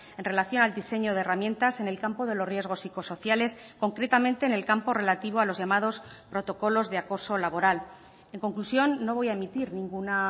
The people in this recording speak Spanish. en relación al diseño de herramientas en el campo de los riesgos psicosociales concretamente en el campo relativo a los llamados protocolos de acoso laboral en conclusión no voy a emitir ninguna